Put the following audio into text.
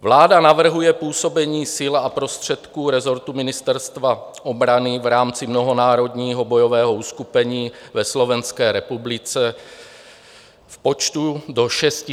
Vláda navrhuje působení sil a prostředků rezortu Ministerstva obrany v rámci mnohonárodního bojového uskupení ve Slovenské republice v počtu do 650 vojáků.